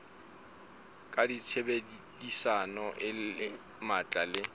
ka tshebedisano e matla le